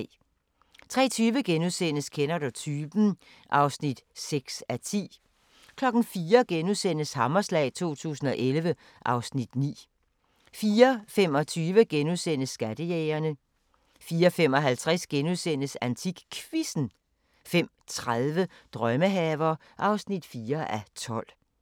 03:20: Kender du typen? (6:10)* 04:00: Hammerslag 2011 (Afs. 9)* 04:25: Skattejægerne * 04:55: AntikQuizzen * 05:30: Drømmehaver (4:12)